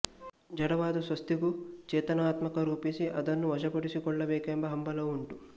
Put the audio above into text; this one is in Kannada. ಜಡವಾದ ಸ್ವತ್ತಿಗೂ ಚೇತನವನ್ನಾರೋಪಿಸಿ ಅದನ್ನು ವಶಪಡಿಸಿ ಕೊಳ್ಳಬೇಕೆಂಬ ಹಂಬಲವೂ ಉಂಟು